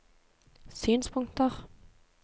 synspunkter